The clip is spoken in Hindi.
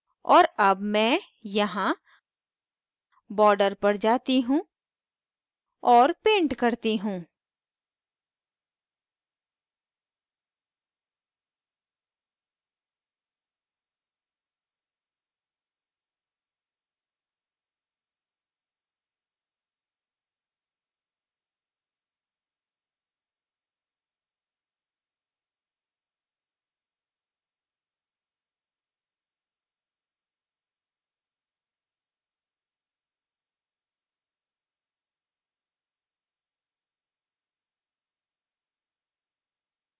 और अब मैं यहाँ border पर जाती हूँ और paint करती हूँ